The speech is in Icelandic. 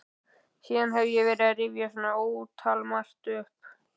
Síðan hef ég verið að rifja svo ótalmargt upp.